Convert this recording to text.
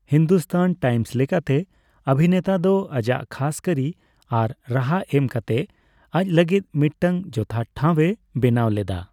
Hindustan Times ᱞᱮᱠᱟᱛᱮ, ᱚᱵᱷᱤᱱᱮᱛᱟ ᱫᱚ ᱟᱡᱟᱜ ᱠᱷᱟᱥ ᱠᱟᱹᱨᱤ ᱟᱨ ᱨᱟᱦᱟ ᱮᱢ ᱠᱟᱛᱮ ᱟᱡ ᱞᱟᱹᱜᱤᱫ ᱢᱤᱫᱴᱟᱝ ᱡᱚᱛᱷᱟᱛ ᱴᱷᱟᱣᱮ ᱵᱮᱱᱟᱣ ᱞᱮᱫᱟ ᱾